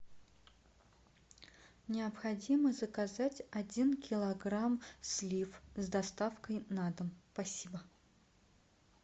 необходимо заказать один килограмм слив с доставкой на дом спасибо